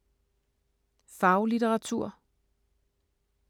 Faglitteratur